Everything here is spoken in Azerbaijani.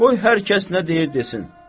Qoy hər kəs nə deyir desin.